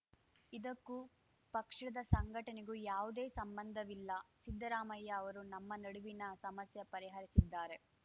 ಇದಕ್ಕೂ ಪಕ್ಷದ ಸಂಘಟನೆಗೂ ಯಾವುದೇ ಸಂಬಂಧವಿಲ್ಲ ಸಿದ್ದರಾಮಯ್ಯ ಅವರು ನಮ್ಮ ನಡುವಿನ ಸಮಸ್ಯೆ ಪರಿಹರಿಸಿದ್ದಾರೆ